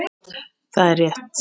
Það er rétt.